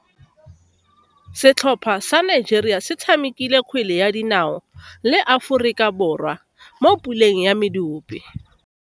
Setlhopha sa Nigeria se tshamekile kgwele ya dinao le Aforika Borwa mo puleng ya medupe.